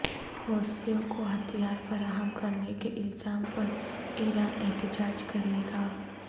حوثیوں کو ہتھیار فراہم کرنے کے الزام پر ایران احتجاج کرے گا